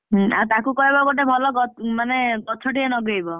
ହୁଁ ତାକୁ କହିବ ଗୋଟେ ଭଲ ଗ~ ମାନେ ଗଛ ଟିଏ ଲଗେଇବ!